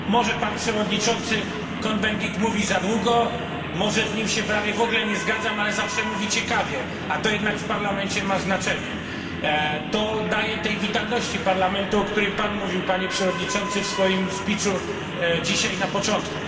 Może pan przewodniczący Cohn Bendit mówi za długo, może z nim się prawie w ogóle nie zgadzam, ale zawsze mówi ciekawie, a to jednak w Parlamencie ma znaczenie. To daje tej witalności Parlamentu, o której pan mówił, panie przewodniczący, w swoim przemówieniu dzisiaj na początku.